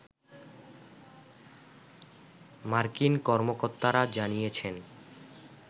মার্কিন কর্মকর্তারা জানিয়েছেন